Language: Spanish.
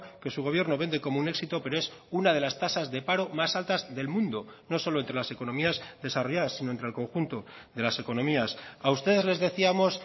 que su gobierno vende como un éxito pero es una de las tasas de paro más altas del mundo no solo entre las economías desarrolladas sino entre el conjunto de las economías a ustedes les decíamos